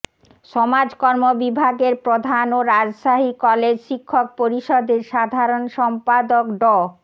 সমাজকর্ম বিভাগের প্রধান ও রাজশাহী কলেজ শিক্ষক পরিষদের সাধারণ সম্পাদক ড